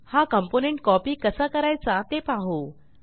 हा component copy कसा करायचा ते पाहू